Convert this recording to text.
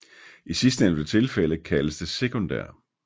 I sidstnævnte tilfælde kaldes det sekundær